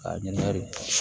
A ɲininkali